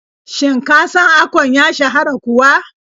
Shin ka san Akon ya shahara kuwa?